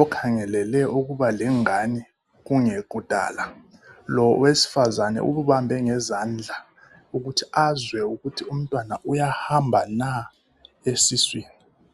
okhangelele ukubalengane kungekudala lo owesifazana ukubambe ngezandla ukuthi azwe ukuthi umntwana uyahamba na esiswini.